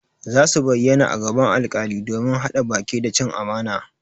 Zasu bayyana a gaban alkali domin hada baki da cin amana